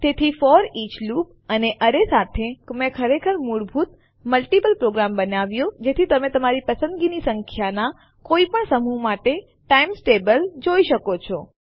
તેથી આ foreach loop અને અરે સાથે મેં ખરેખર મૂળભૂત મલ્ટીપલ પ્રોગ્રામ બનાવ્યો કે જેથી તમે તમારી પસંદની સંખ્યાના કોઈ પણ સમૂહ માટે ટાઈમ્સ ટેબલ જોઈ શકો છો